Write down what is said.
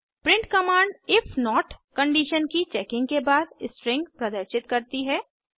print command if not condition की checking के बाद स्ट्रिंग प्रदर्शित करती है